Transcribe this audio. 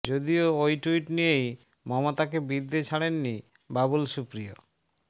যদিও ওই টুইট নিয়েই মমতাকে বিঁধতে ছাড়েননি বাবুল সুপ্রিয়